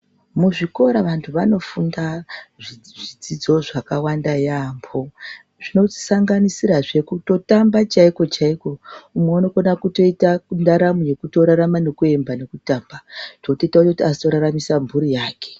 Muzvikora vantu vanofunda zvakawanda yaemho, zvinosanganisira kutotamba chaiko chaiko umwe unokone kutoita ndaramo yekutorarama nekuemba nekutamba zvinoita kuti azoraramisa mhuri yake.